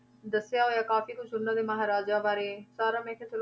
ਦੱਸਿਆ ਹੋਇਆ ਕਾਫ਼ੀ ਕੁਛ ਉਹਨਾਂ ਦੇ ਮਹਾਰਾਜਾ ਬਾਰੇ ਸਾਰਾ ਮੈਂ ਕਿਹਾ ਚਲੋ,